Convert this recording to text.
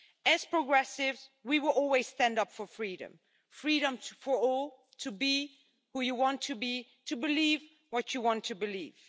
As progressives, we will always stand up for freedom freedom for all to be who you want to be, to believe what you want to believe.